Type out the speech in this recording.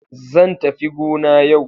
Zan tafi gona yau.